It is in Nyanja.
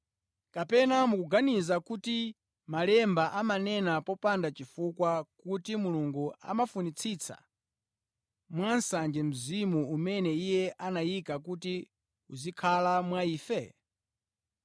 Kapena mukuganiza kuti Malemba amanena popanda chifukwa kuti Mulungu amafunitsitsa mwansanje mzimu umene Iye anayika kuti uzikhala mwa ife?